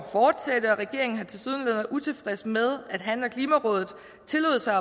regeringen har tilsyneladende utilfreds med at han og klimarådet tillod sig